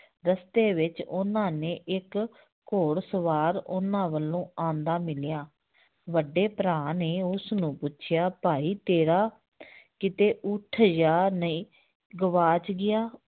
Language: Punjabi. ਰਸਤੇ ਵਿੱਚ ਉਹਨਾਂ ਨੇ ਇੱਕ ਘੋੜ ਸਵਾਰ ਉਹਨਾਂ ਵੱਲੋਂ ਆਉਂਦਾ ਮਿਲਿਆ ਵੱਡੇ ਭਰਾ ਨੇ ਉਸਨੂੰ ਪੁੱਛਿਆ ਭਾਈ ਤੇਰਾ ਕਿਤੇ ਉਠ ਜਾਂ ਨਹੀਂ ਗਵਾਚ ਗਿਆ